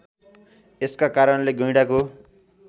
यसका कारणले गैंडाको